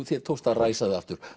þér tókst að ræsa þig aftur